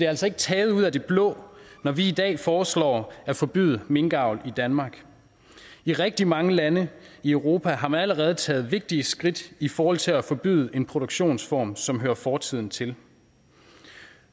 altså ikke taget ud af det blå når vi i dag foreslår at forbyde minkavl i danmark i rigtig mange lande i europa har man allerede taget vigtige skridt i forhold til at forbyde en produktionsform som hører fortiden til